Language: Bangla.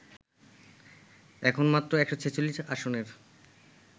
এখন মাত্র ১৪৬ আসনের